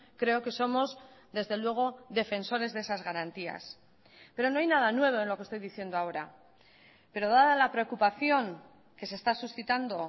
creo que somos desde luego defensores de esas garantías pero no hay nada nuevo en lo que estoy diciendo ahora pero dada la preocupación que se está suscitando